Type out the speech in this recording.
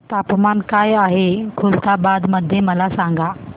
तापमान काय आहे खुलताबाद मध्ये मला सांगा